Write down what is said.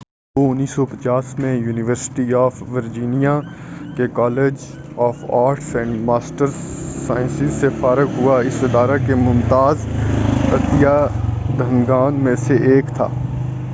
وہ 1950 میں university of Virginia کے college of arts and sciences سے فارغ ہوا اور اس ادارہ کے ممتاز عطیہ دہندگان میں سے ایک تھا